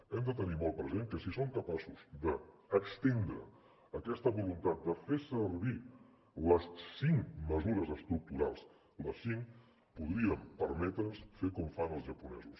hem de tenir molt present que si som capaços d’estendre aquesta voluntat de fer servir les cinc mesures estructurals les cinc podríem permetre’ns fer com fan els japonesos